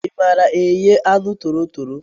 I maara eghe aṅụ toro tọrọ?